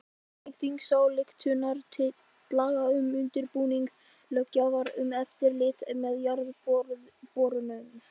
Samþykkt þingsályktunartillaga um undirbúning löggjafar um eftirlit með jarðborunum.